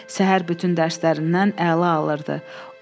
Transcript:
Səhər bütün dərslərindən əla alırdı.